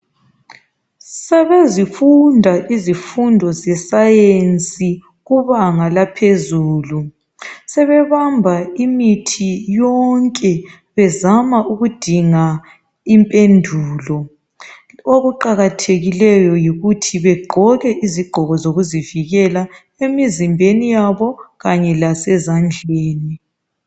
Sebezifunda izifundo zesayensi kubanga laphezulu. Sebebamba imithi yonke bezama ukudinga impendulo. Okuqakathekileyo yikuthi begqoke izigqoko zokuzivikela emzimbeni yabo Kanye lasezandleni.